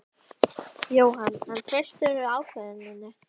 Jóhann: En treystirðu ákvörðuninni?